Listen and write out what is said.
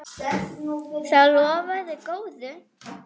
Þetta lofaði góðu.